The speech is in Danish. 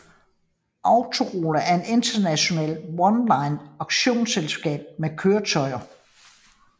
Autorola er et international online auktionsselskab med køretøjer